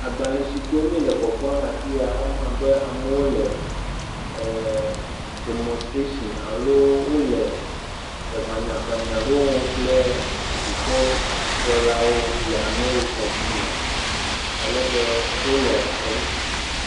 Agbalẽ siwo mi le kpɔkpɔm le afi ya woma abe amewo le demonstration alo le ŋanyaŋanyaŋanya ɖewo wɔm kple dukɔkplɔlawo le Amerikadume, alebe wole enu.